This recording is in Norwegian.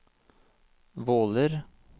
Våler